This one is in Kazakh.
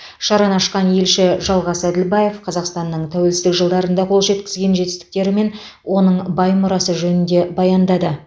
шараны ашқан елші жалғас әділбаев қазақстанның тәуелсіздік жылдарында қол жеткізген жетістіктері мен